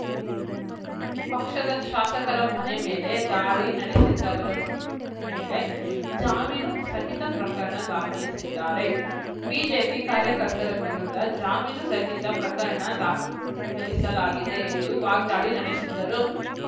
ಪಕ್ಷದ ಶಾಸಕರ ಮನೆ ಮೇಲೆ ದಾಳಿ ನಡೆಸಿದ್ದವರ ಮೇಳೆ ಜಾಮೀನು ಸಹಿತ ಪ್ರಕರಣ ದಾಖಲಿಸಿದ್ದಾರೆ ಬಿಜೆಪಿ ಕಾರ್ಯಕರ್ತರ ವಿರುದ್ಧ ಜಾಮೀನು ರಹಿತ ಪ್ರಕರಣ ದಾಖಲಿಸಲಾಗಿದೆ ಎಂದು ವಾಗ್ದಾಳಿ ನಡೆಸಿದರು